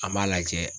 An m'a lajɛ